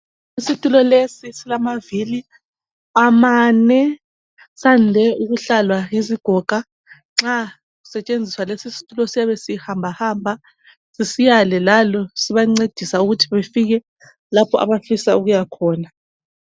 Isithulo lesi silamavili amane ,sande ukuhlalwa yizigoga. nxa kusetshenziswa lesi sithulo siyabe sihamba hamba ,sisiyale lale. Sibancedisa ukuthi befike lapho abafisa ukuyakhona.